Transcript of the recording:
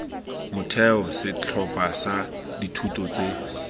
motheo setlhopha sa dithuto tse